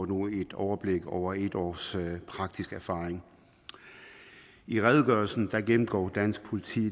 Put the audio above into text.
nu et overblik over et års praktisk erfaring i redegørelsen gennemgår dansk politi